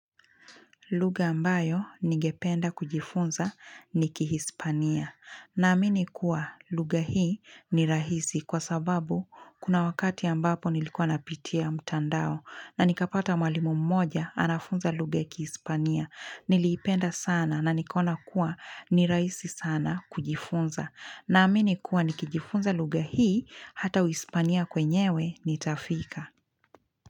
Lugha ambayo nigependa kujifunza ni kihispania. Na amini kuwa luga hii ni rahisi kwa sababu kuna wakati ambapo nilikuwa napitia mtandao na nikapata mwalimu mmoja anafunza luga kihispania. Nilipenda sana na nikona kuwa ni rahisi sana kujifunza. Na amini kuwa nikijifunza lugha hii hata wispania kwenyewe nitafika.